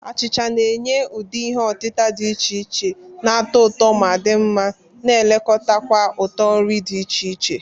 Achicha na-enye ụdị ihe otita dị iche iche na-atọ ụtọ ma di nma, na-elekota kwa uto nri dị iche iche.